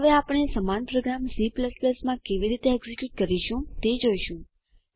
હવે આપણે સમાન પ્રોગ્રામ C માં કેવી રીતે એકઝીક્યુટ કરીશું તે જોઈશું